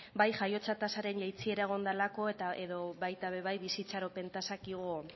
bai jaiotza tasaren jaitsiera egon delako edo baita ere bai bizi itxaropen tasak